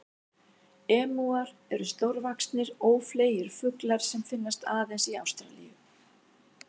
Emúar eru stórvaxnir, ófleygir fuglar sem finnast aðeins í Ástralíu.